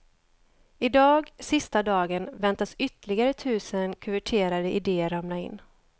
Idag, sista dagen, väntas ytterligare tusen kuverterade idéer ramla in.